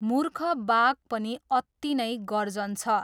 मूर्ख बाघ पनि अत्ति नै गर्जन्छ।